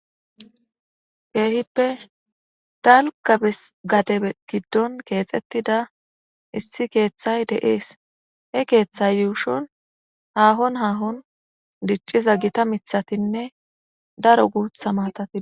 Keehippe dalkabes gade giddon keexettida issi keeththay deees he keeththay yuushun haahon haahon dicciza gita mithatinne daro guutha maatati.